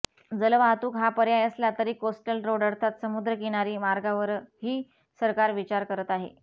जलवाहतूक हा पर्याय असला तरी कोस्टल रोड अर्थात समुद्र किनारी मार्गावरही सरकार विचार करत आहे